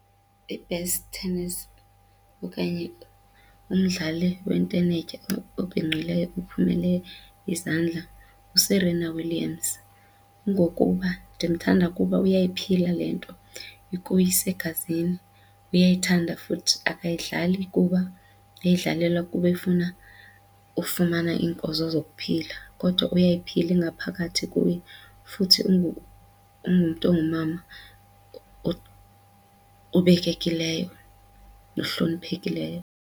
I-best tennis okanye umdlali yentenetya obhinqileyo ophumele izandla nguSerena Williams kungokuba ndimthanda kuba uyayiphila le nto ukuye isegazini, uyayithanda futhi akayidlali kuba eyidlalela kuba efuna ufumana iinkozo zokuphila kodwa uyayiphila ingaphakathi kuye futhi ungumntu ongumama obekekileyo nohloniphekileyo.